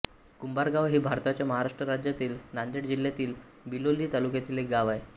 कुंभारगाव हे भारताच्या महाराष्ट्र राज्यातील नांदेड जिल्ह्यातील बिलोली तालुक्यातील एक गाव आहे